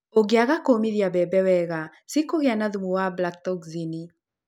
ũngĩaga kũũmithia mbembe wega, ciĩkũgĩa na thumu wa abratoxini.